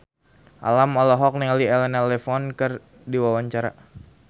Alam olohok ningali Elena Levon keur diwawancara